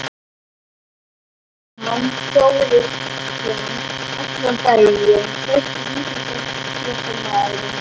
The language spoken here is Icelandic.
Guðmann Þórisson allan daginn Besti íþróttafréttamaðurinn?